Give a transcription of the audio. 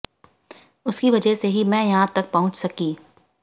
उनकी वजह से ही मैं यहां तक पहुंच सकी